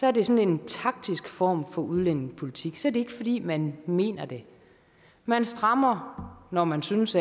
er det sådan en taktisk form for udlændingepolitik så er det ikke fordi man mener det man strammer når man synes